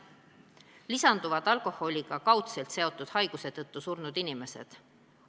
Lisanduvad alkoholiga kaudselt seotud haiguste tõttu surnud inimesed.